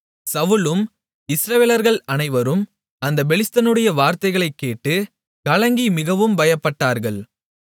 சவுலும் இஸ்ரவேலர்கள் அனைவரும் அந்தப் பெலிஸ்தனுடைய வார்த்தைகளைக் கேட்டு கலங்கி மிகவும் பயப்பட்டார்கள்